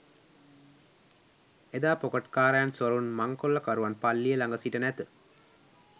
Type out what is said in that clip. එදා පොකට්කාරයන් සොරුන් මංකොල්ලකරුවන් පල්ලිය ළඟ සිට නැත